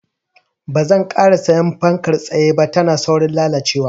Banzan ƙara siyan fankar tsaye ba, tana saurin lalacewa.